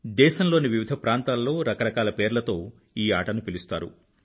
దేశంలోని వివిధ ప్రాంతాల్లో రకరకాల పేర్లతో ఈ ఆటను పిలుస్తారు